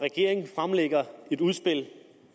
regering fremlægger et udspil